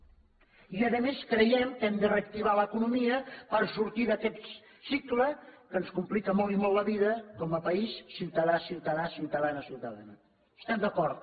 i a més creiem que hem de reactivar l’economia per sortir d’aquest cicle que ens complica molt i molt la vida com a país ciutadà a ciutadà ciutadana a ciutadana estem d’acord